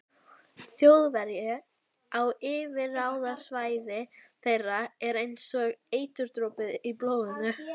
Þjóðverji á yfirráðasvæði þeirra er einsog eiturdropi í blóðinu.